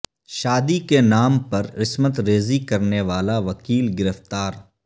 شادی کے نام پر عصمت ریزی کرنے والا وکیل گرفتار